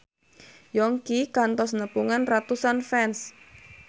Yongki kantos nepungan ratusan fans